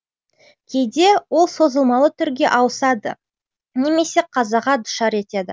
кейде ол созылмалы түрге ауысады немесе қазаға душар етеді